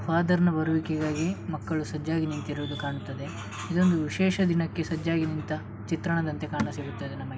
father ನ ಬರುವಿಕೆಗಾಗಿ ಮಕ್ಕಳು ಸಾಜ್ಜಾಗಿ ನಿಂತಿರುವುದು ಕಾಣುತ್ತದೆ ಇದೊಂದು ವಿಶೇಷ ದಿನಕ್ಕೆ ಸಾಜ್ಜಾಗಿ ನಿಂತ ಚಿತ್ರಣದಂತೆ ಕಾಣ ಸಿಗುತ್ತದೆ ನಮ --